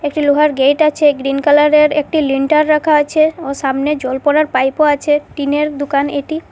একটি লোহার গেইট আছে গ্রীন কালারের একটি লিণ্টার রাখা আছে ও সামনে জল পড়ার পাইপও আছে টিনের দুকান এটি।